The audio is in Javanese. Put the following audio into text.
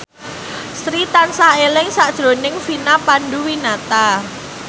Sri tansah eling sakjroning Vina Panduwinata